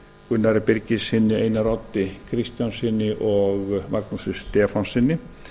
gunnari birgissyni einari oddi kristjánssyni og magnúsi stefánssyni